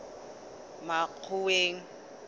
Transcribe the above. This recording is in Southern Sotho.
makgoweng